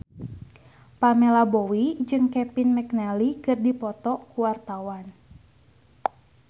Pamela Bowie jeung Kevin McNally keur dipoto ku wartawan